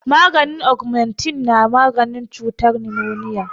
Maganin agamentin na maganin cutar nimoniya